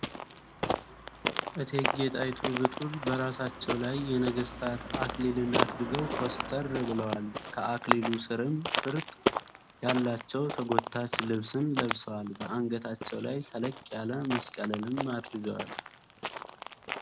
እቴጌ ጣይቱ ብጡል በራሳቸው ላይ የነገስታት አክልሊን አድርገው ኮስተር ብለዋል። ከአክሊሉ ስርም ፍርጥ ያላቸው ተጎታች ልብስን ለብሰዋል። በአንገታቸው ላይ ተለቅ ያለ መስቀልንም አድርገዋል።